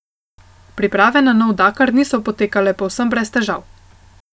Priprave na nov Dakar niso potekale povsem brez težav.